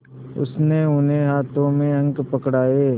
उसने उन्हें हाथों में अंक पकड़ाए